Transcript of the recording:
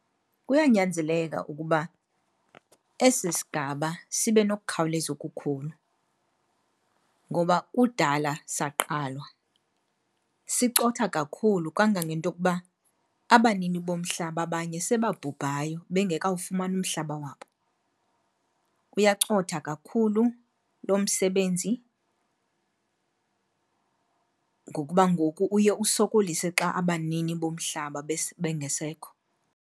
Kuyanyanzeleka ukuba esi sigaba sibe nokukhawuleza okukhulu ngoba kudala saqalwa. Sicotha kakhulu kangangento okuba abanini bomhlaba abanye sebabhubhayo bengekawufumani umhlaba wabo. Uyacotha kakhulu lo msebenzi ngokuba ngoku uye usokolise xa abanini bomhlaba bengasekho.